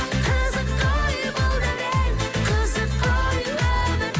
қызық қой бұл дәурен қызық қой өмір